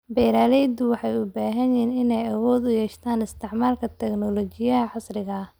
Beeraleydu waxay u baahan yihiin inay awood u yeeshaan isticmaalka tignoolajiyada casriga ah.